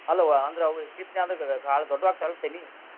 ಅಲ್ಲವೊ ಅಂದ್ರ ಅವು ದೊಡ್ಡು ಆಕ್ಕಾವ ಇಲ್ಲೋ ತನಿ?